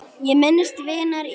Ég minnist vinar í raun.